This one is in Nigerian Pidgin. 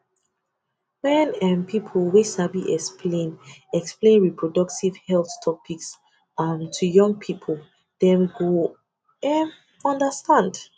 wen um people wey sabi explain explain reproductive health topics um to young people dem go um understand